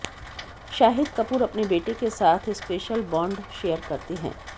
शाहिद कपूर अपने बेटे के साथ स्पेशल बॉन्ड शेयर करते हैं